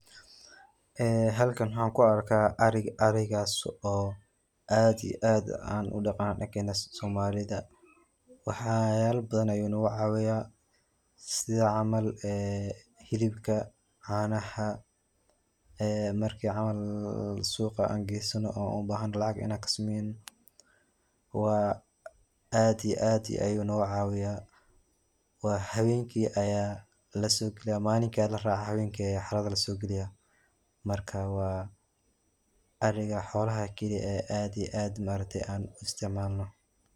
Ee halkan waxaan ku arka ariga arigas oo aad iyo aad aan u dhaqano dhankena soomalida waxyaala badan ayu nagu caawiya sida camal ee hilibka caanaha ee marki camal suqa aan gaysano aan u bahano lacag inaan kasamayno waa aad iyo aad ayu nagu caawiya waa hawenki aya lasokeya malinka ya la raaca hawenki aya xarada lasogaliya marka waa ariga xoolaha kali aad iyo aad ma aragtay aan u isticmaalno.